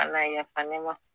Ala yafa ne ma